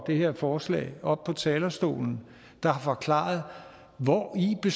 det her forslag oppe på talerstolen og forklare hvori det